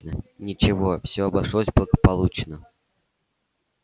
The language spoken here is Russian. ничего все обошлось благополучно